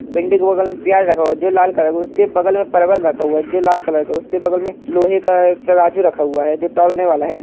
भिंडी के बगल मे प्याज़ रखा हुआ है जो लाल कलर का है। उसके एक बगल में परवल रखा हुआ है जो लाल कलर का है। उसके बगल मे लोहे का एक तराजू रखा हुआ है जो तौलने वाला है।